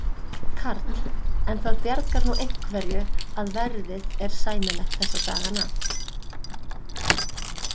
Karl: En það bjargar nú einhverju að verðið er sæmilegt þessa dagana?